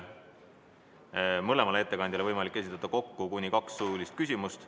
Mõlemale ettekandjale on võimalik esitada kokku kuni kaks suulist küsimust.